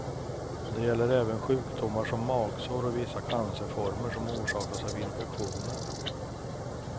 Det gäller även sjukdomar som magsår och vissa cancerformer som orsakas av infektioner.